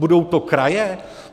Budou to kraje?